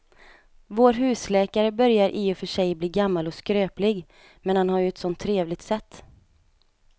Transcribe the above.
Vår husläkare börjar i och för sig bli gammal och skröplig, men han har ju ett sådant trevligt sätt!